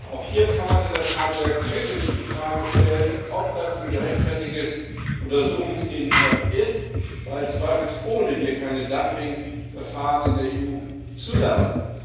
Auch hier kann man in der Tat sehr kritisch die Frage stellen, ob das ein gerechtfertigter Untersuchungsgegenstand ist, weil wir zweifelsohne keine Dumpingverfahren in der EU zulassen.